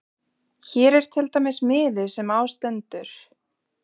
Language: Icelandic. Hér er til dæmis miði sem á stendur